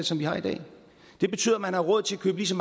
som vi har i dag det betyder at man har råd til at købe lige så